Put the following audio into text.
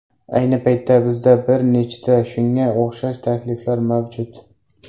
Ayni paytda bizda bir nechta shunga o‘xshash takliflar mavjud!